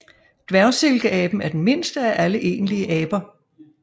Dværgsilkeaben er den mindste af alle egentlige aber